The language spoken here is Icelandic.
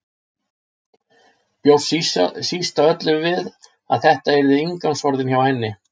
Bjóst síst af öllu við að þetta yrðu inngangsorðin hjá henni.